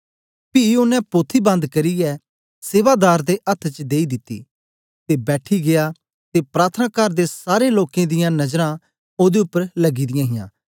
पी ओनें पोथी बन्द करियै सेवा दार दे अथ्थ च देई दिती ते बैठी गीया ते प्रार्थनाकार दे सारे लोकें दियां नजरां ओदे उपर लगी दियां हां